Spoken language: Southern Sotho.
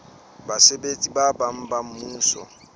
basebetsi ba bang ba mmuso